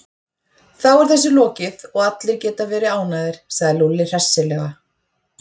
Þá er þessu lokið og allir geta verið ánægðir, sagði Lúlli hressilega.